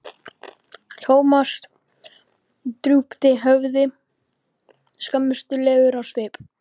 Thomas drúpti höfði, skömmustulegur á svip.